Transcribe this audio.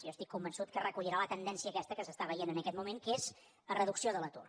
jo estic convençut que recollirà la tendència aquesta que s’està veient en aquest moment que és la reducció de l’atur